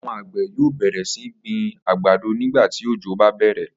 Àwo̩n àgbè̩ yóò bè̩rè̩ sí gbin àgbàdo nígbà tí òjò bá bè̩rè̩